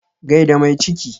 Gai da mai ciki.